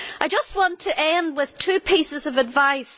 I want to end with two pieces of advice.